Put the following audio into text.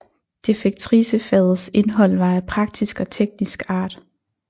Defektricefagets indhold var af praktisk og teknisk art